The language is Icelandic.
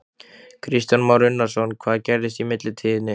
Kristján Már Unnarsson: Hvað gerðist í millitíðinni?